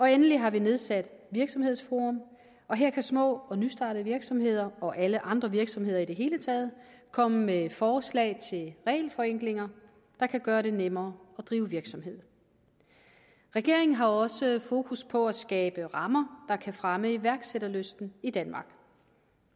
endelig har vi nedsat virksomhedsforum og her kan små og nystartede virksomheder og alle andre virksomheder i det hele taget komme med forslag til regelforenklinger der kan gøre det nemmere at drive virksomhed regeringen har også fokus på at skabe rammer der kan fremme iværksætterlysten i danmark